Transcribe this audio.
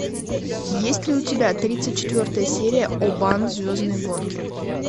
есть ли у тебя тридцать четвертая серия обан звездные гонки